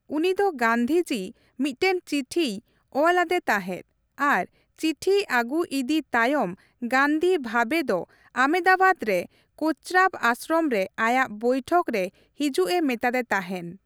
ᱩᱱᱤ ᱫᱚ ᱜᱟᱱᱫᱷᱤᱡᱤ ᱢᱤᱫᱴᱮᱱ ᱪᱤᱴᱷᱤᱭ ᱚᱞ ᱟᱫᱮ ᱛᱟᱦᱮᱸᱫ ᱟᱨ ᱪᱤᱴᱷᱤ ᱟᱹᱜᱩ ᱤᱫᱤ ᱛᱟᱭᱚᱢ ᱜᱟᱱᱫᱷᱤ ᱵᱷᱟᱵᱷᱮ ᱫᱚ ᱟᱦᱢᱮᱫᱟᱵᱟᱫ ᱨᱮ ᱠᱳᱪᱨᱟᱵ ᱟᱥᱨᱚᱢ ᱨᱮ ᱟᱭᱟᱜ ᱵᱳᱭᱴᱷᱚᱠ ᱨᱮ ᱦᱤᱡᱩᱜᱼᱮ ᱢᱮᱛᱟᱫᱮ ᱛᱟᱦᱮᱱ ᱾